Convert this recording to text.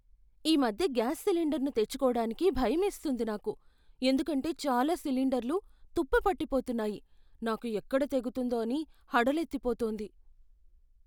ఈమధ్య గ్యాస్ సిలిండర్ను తెచ్చుకోడానికి భయమేస్తుంది నాకు. ఎందుకంటే చాలా సిలిండర్లు తుప్పు పట్టిపోతున్నాయి, నాకు ఎక్కడ తెగుతుందో అని హడలెత్తిపోతుంది.